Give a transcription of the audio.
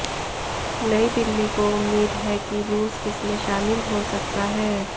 नई दिल्ली को उम्मीद है कि रूस इसमें शामिल हो सकता है